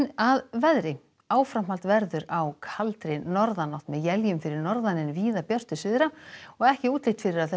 að veðri áframhald verður á kaldri norðanátt með éljum fyrir norðan en víða björtu syðra og ekki útlit fyrir að þessum